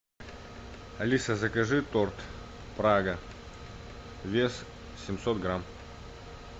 алиса закажи торт прага вес семьсот грамм